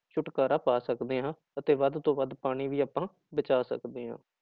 ਛੁਟਕਾਰਾ ਪਾ ਸਕਦੇ ਹਾਂ, ਅਤੇ ਵੱਧ ਤੋਂ ਵੱਧ ਪਾਣੀ ਆਪਾਂ ਬਚਾਅ ਸਕਦੇ ਹਾਂ